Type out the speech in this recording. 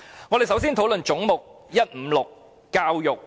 我們首先討論總目156教育局。